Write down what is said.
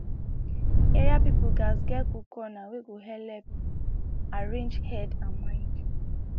area people gatz get cool corner wey go helep arrange head and mind